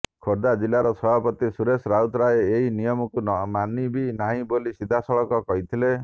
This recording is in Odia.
ଖୋର୍ଦ୍ଧା ଜିଲ୍ଲାର ସଭାପତି ସୁରେଶ ରାଉତରାୟ ଏନିୟମକୁ ମାନିବି ନାହିଁ ବୋଲି ସିଧାସଳଖ କହିଲେ